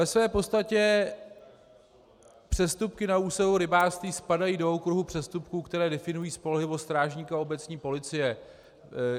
Ve své podstatě přestupky na úseku rybářství spadají do okruhu přestupků, které definují spolehlivost strážníka obecní policie.